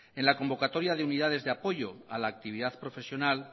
en la convocatoria de unidades de apoyo a la actividad profesional la